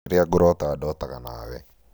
rĩrĩa ngũroota ndotaga nawe